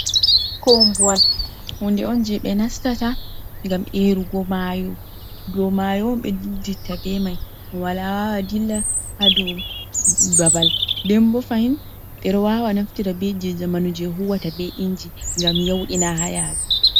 Koombowal huunde on jey ɓe nastata ngam eerugu maayo. Dow maayo on ɓe dilliditta bee mai, wala dilla haa dow haa dow babal. Nden boo fahin, ɓe ɗo waawa naftira bee jey zamanu jey huwata bee inji ngam yawɗina haa yaadu.